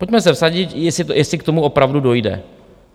Pojďme se vsadit, jestli k tomu opravdu dojde.